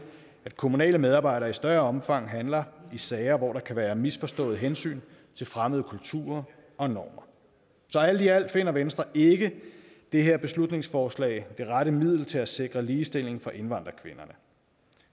at kommunale medarbejdere i større omfang handler i sager hvor der kan være misforståede hensyn til fremmede kulturer og normer alt i alt finder venstre ikke det her beslutningsforslag er det rette middel til at sikre ligestilling for indvandrerkvinderne